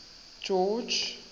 george